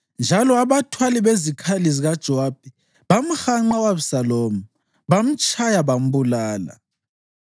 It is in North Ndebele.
Njalo abathwali bezikhali zikaJowabi bamhanqa u-Abhisalomu, bamtshaya bambulala.